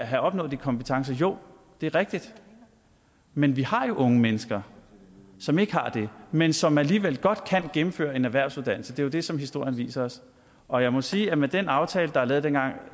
have opnået de kompetencer jo det er rigtigt men vi har jo unge mennesker som ikke har det men som alligevel godt kan gennemføre en erhvervsuddannelse det er jo det som historien viser os og jeg må sige at med den aftale der er lavet dengang